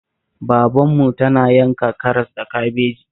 Babarmu tana yanka karas da kabeji